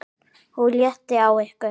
OG LÉTTIR Á YKKUR!